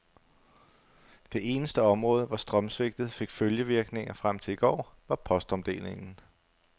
Det eneste område, hvor strømsvigtet fik følgevirkninger frem til i går, var postomdelingen.